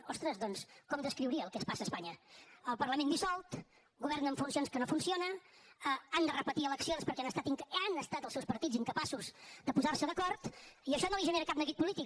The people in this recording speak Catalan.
ostres doncs com descriuria el que passa a espanya el parlament dissolt govern en funcions que no funciona han de repetir eleccions perquè han estat els seus partits incapaços de posar se d’acord i això no li genera cap neguit polític